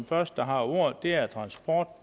første der har ordet er transport